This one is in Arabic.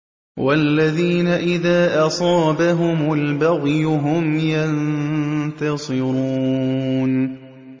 وَالَّذِينَ إِذَا أَصَابَهُمُ الْبَغْيُ هُمْ يَنتَصِرُونَ